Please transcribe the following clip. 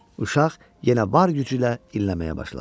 Uşaq yenə var gücü ilə inləməyə başladı.